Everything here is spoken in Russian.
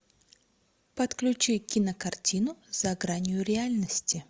подключи кинокартину за гранью реальности